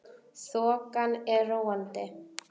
Þokan er róandi